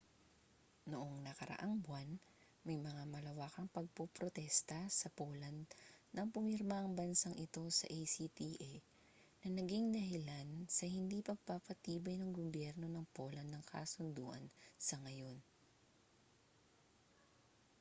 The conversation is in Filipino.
noong nakaraang buwan may mga malawakang pagpoprotesta sa poland nang pumirma ang bansang ito sa acta na naging dahilan sa hindi pagpapatibay ng gobyerno ng poland ng kasunduan sa ngayon